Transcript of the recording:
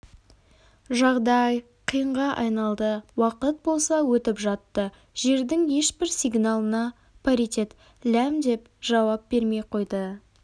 жағдай қиынға айналды уақыт болса өтіп жатты жердің ешбір сигналына паритет ләм деп жауап бермей қойды